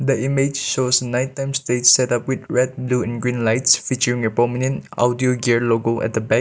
the image shows night time stage setup with red blue and green lights featuring a prominent outdoor gear logo at the back.